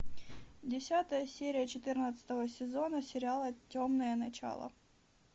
десятая серия четырнадцатого сезона сериала темное начало